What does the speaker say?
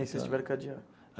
E aí vocês tiveram que adiar?